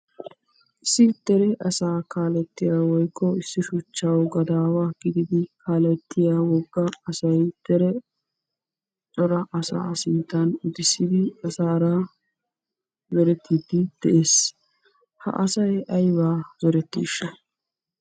Issi dere asaa kaalettiya woykko issi shuchchawu gadaawa gididi kaalettiya wogga asay dere cora asaa sinttan utissidi asaara zorettiiddi de'ees. Ha asay aybaa zorettiishsha?